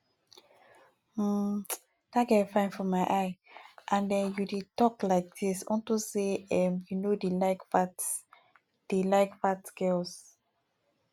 um dat girl fine for my eye and um you dey talk like dis unto say um you no dey like fat dey like fat girls